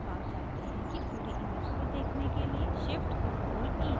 अब आप जानते हैं पूरी image को देखने के लिए shift + ctrl + e